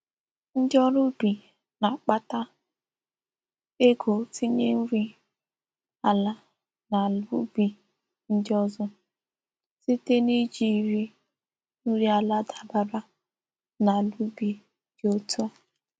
Ndi órú ubi na-akpata ego itinye nri ala n'ala ubi ndi ozo, site n'ijiri nri ala dabara n'ala ubi di òtû a.